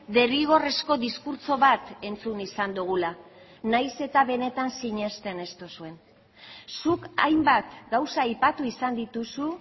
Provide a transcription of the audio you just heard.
derrigorrezko diskurtso bat entzun izan dugula nahiz eta benetan sinesten ez duzuen zuk hainbat gauza aipatu izan dituzu